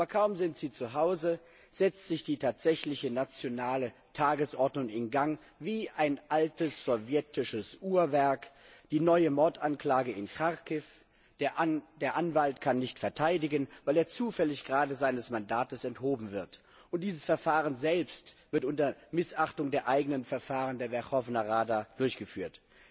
Aber kaum sind Sie zuhause, setzt sich die tatsächliche nationale Tagesordnung in Gang wie ein altes sowjetisches Uhrwerk die neue Mordanklage in Charkiw, der Anwalt kann nicht verteidigen, weil er zufällig gerade seines Mandates enthoben wird und dieses Verfahren selbst wird unter Missachtung der eigenen Verfahren der Werchowna Rada durchgeführt.